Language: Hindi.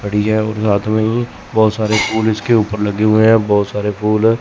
पड़ी है और साथ में ही बहोत सारे फूल इसके ऊपर लगे हुए हैं बहोत सारे फूल --